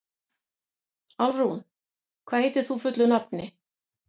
Álfrún, hvað heitir þú fullu nafni?